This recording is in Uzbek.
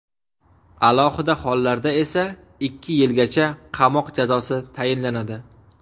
Alohida hollarda esa ikki yilgacha qamoq jazosi tayinlanadi.